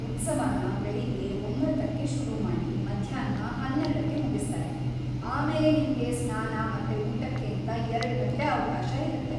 ಉತ್ಸವನ ಬೆಳಿಗ್ಗೆ ಒಂಬತ್ತಕ್ಕೆ ಶುರು ಮಾಡಿ ಮಧ್ಯಾಹ್ನ ಹನ್ನೆರಡಕ್ಕೆ ಮುಗಿಸ್ತಾರೆ, ಆಮೇಲೆ ನಿಮ್ಗೆ ಸ್ನಾನ ಮತ್ತೆ ಊಟಕ್ಕೇಂತ ಎರ್ಡು ಗಂಟೆ ಅವ್ಕಾಶ ಇರತ್ತೆ.